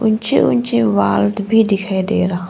ऊंचे ऊंचे वाल्ट भी दिखायी दे रहा--